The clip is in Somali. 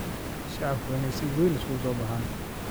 Shacabku waa in ay si weyn isugu soo baxaan